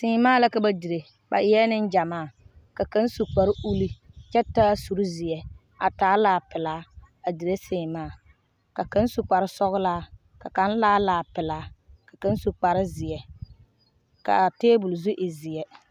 seemaa la ka ba dire, ba eɛ Nengyamaa , ka kaŋa su kpare ulluu , kyɛ taa sur zeɛ a taa laa pelaa a dire seemaa ka kaŋa su kpare sɔglaa, ka kaŋa taa laa pelaa ka kaŋa su kpare zeɛ, kaa tabol zu e zeɛ.